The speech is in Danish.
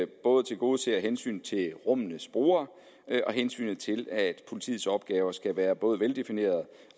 både tilgodeser hensynet til rummenes brugere og hensynet til at politiets opgaver skal være både veldefinerede